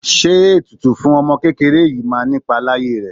Ṣé ètùtù fún ọmọ kékeré yìí máa nipa láyé rẹ?